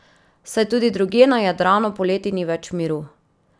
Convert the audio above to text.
Saj tudi drugje na Jadranu poleti ni več miru!